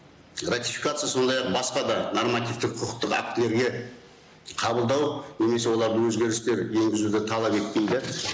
ратификация сондай ақ басқа да нормативтік құқықтық актілерге қабылдау немесе олардың өзгерістер енгізуді талап етпейді